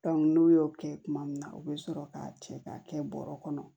n'u y'o kɛ tuma min na u bɛ sɔrɔ k'a cɛ k'a kɛ bɔrɛ kɔnɔ